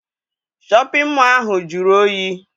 Shọpịn mọọ ahụ jụrụ oyi.